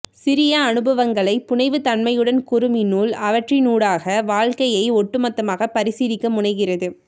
சிறிய அனுபவங்களை புனைவுத்தன்மையுடன் கூறும் இந்நூல் அவற்றினூடாக வாழ்க்கையை ஒட்டுமொத்தமாக பரிசீலிக்க முனைகிறது